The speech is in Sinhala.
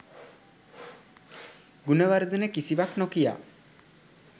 ගුණවර්ධන කිසිවක් නොකියා